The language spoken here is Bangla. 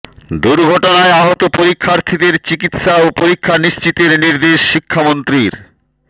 দুর্ঘটনায় আহত পরীক্ষার্থীদের চিকিৎসা ও পরীক্ষা নিশ্চিতের নির্দেশ শিক্ষামন্ত্রীর